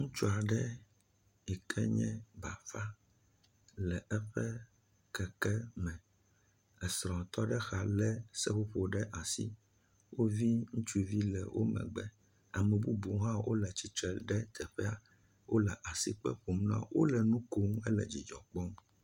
Ŋutsu aɖe yi ke nye bafa le eƒe keke me, esrɔ̃ tɔ ɖe exa lé seƒoƒo ɖe asi, wo vi ŋutsuvi le wo megbe, ame bubuwo hã wole tsitre ɖe teƒea, wole asi kpe ƒom na wo, wole nu kom hele dzidzɔ kpɔm.